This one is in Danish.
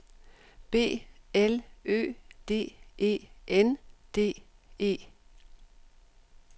B L Ø D E N D E